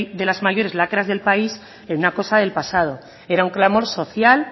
de las mayores lacras del país en una cosa del pasado era un clamor social